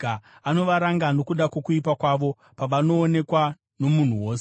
Anovaranga nokuda kwokuipa kwavo, pavanoonekwa nomunhu wose,